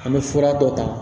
An bɛ fura dɔ ta